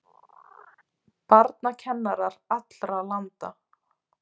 Barnakennarar allra landa!